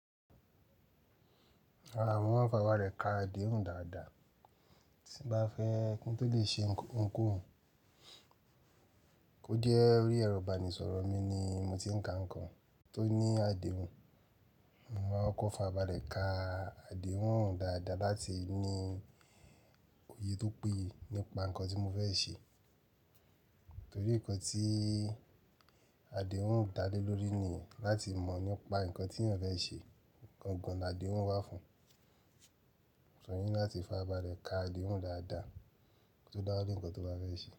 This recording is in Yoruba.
Rárá, mo o farabale ka àdéhùn dáadáa tí n bá fẹ́ kí n tó lè ṣe ohunkohun. Ó je orí ẹrọ̀ ibanisọ̀rọ̀ mi ni mo ti ń ka nǹkan tó ní àdéhùn. Mo máa kóko fàrabále ka àdéhùn dáadáa láti ní òye tó péye nípa nǹkan tí mo fẹ́ ṣe. Torí nǹkan tí àdéhùn dá lé lórí ni láti mọ̀ nípa nǹkan tí èeyan fẹ́ ṣe. Gangàn la àdéhùn wà fún, so o ni láti fàrabálẹ̀ ka àdéhùn dáadáa tó dáńlè nǹkan tó bá fẹ́ ṣe.